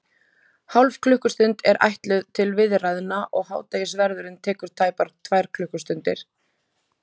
Hálf klukkustund er ætluð til viðræðna, og hádegisverðurinn tekur tæpar tvær klukkustundir.